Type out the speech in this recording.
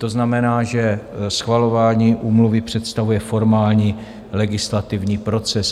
To znamená, že schvalování úmluvy představuje formální legislativní proces.